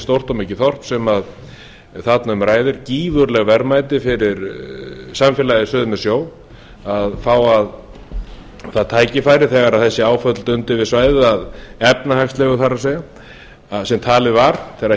stórt og mikið þorp sem þarna um ræðir gífurleg verðmæti fyrir samfélagið suður með sjó að fá það tækifæri þegar þessi áföll dundu yfir svæðið efnahagslegu það er sem talið var þegar